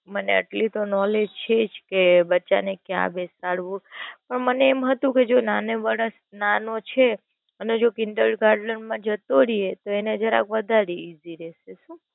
મને એટલી તો Knowledge છે જ કે બચ્ચા ને ક્યાં બેસાડવું પણ મને એમ હતું કે જો નાનો છે અને જો Kinder garden માં જતો રે તો એને જરા વધારે ઈઝી રે.